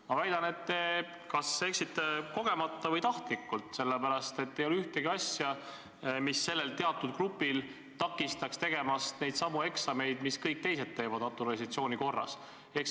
Ma väidan, et te kas eksisite kogemata või tahtlikult – nimelt ei ole ühtegi asja, mis takistaks sellel teatud grupil tegemast neidsamu eksameid, mida kõik teised teevad naturalisatsiooni korras kodakondsuse saamiseks.